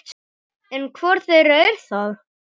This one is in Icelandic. En hvor þeirra er það?